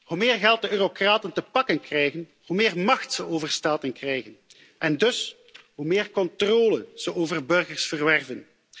Hoe meer geld de eurocraten te pakken krijgen, hoe meer macht ze over staten krijgen en dus, hoe meer controle ze over burgers verwerven.